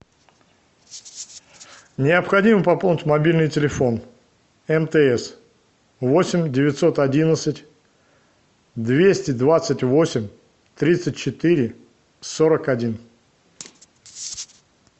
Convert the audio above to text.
необходимо пополнить мобильный телефон мтс восемь девятьсот одиннадцать двести двадцать восемь тридцать четыре сорок один